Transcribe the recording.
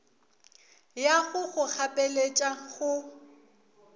ya go go gapeletša go